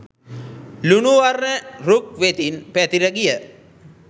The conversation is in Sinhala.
ලුණු වර්ණ රුක් වෙතින් පැතිර ගිය